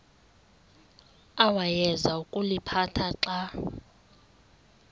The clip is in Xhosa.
awayeza kuliphatha xa